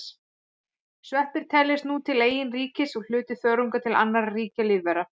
Sveppir teljast nú til eigin ríkis og hluti þörunga til annarra ríkja lífvera.